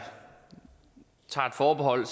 tager et forbehold